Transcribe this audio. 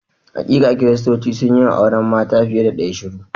Hakika, Kiristoci sun yi wa auren mata fiye da ɗaya shura.